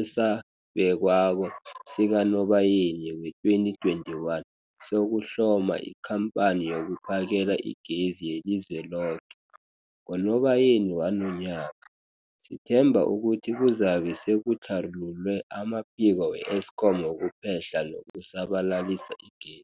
esabekwako sikaNobayeni wee-2021 sokuHloma iKhampani yokuPhakela iGezi yeliZweloke. NgoNobayeni wanonyaka, sithemba ukuthi kuzabe sekutlharululwe amaphiko we-Eskom wokuphehla nokusabalalisa ige